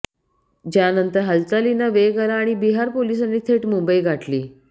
ज्यानंतर हालचालींना वेग आला आणि बिहार पोलिसांनी थेट मुंबई गाठली